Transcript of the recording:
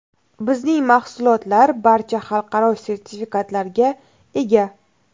Bizning mahsulotlar barcha xalqaro sertifikatlarga ega.